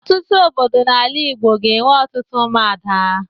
Ọtụtụ obodo n'ala Igbo ga-enwe òtù Ụmụada.